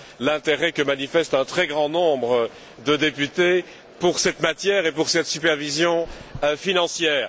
l'intérêt que manifestent un très grand nombre de députés pour cette matière et pour cette supervision financière.